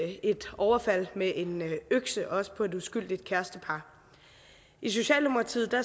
vi et overfald med en økse også på et uskyldigt kærestepar i socialdemokratiet